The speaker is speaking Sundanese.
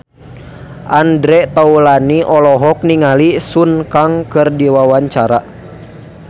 Andre Taulany olohok ningali Sun Kang keur diwawancara